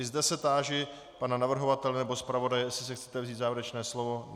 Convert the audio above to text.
I zde se táži pana navrhovatele nebo zpravodaje, jestli si chcete vzít závěrečné slovo.